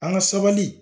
An ka sabali